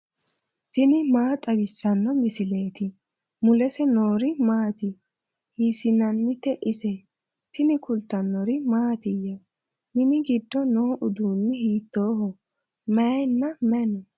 tini maa xawissanno misileeti ? mulese noori maati ? hiissinannite ise ? tini kultannori mattiya? Minni giddo noo uduunni hiittoho? Mayiinna mayi noo?